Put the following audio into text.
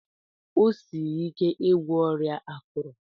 O siri ike igwọ ọrịa akuru.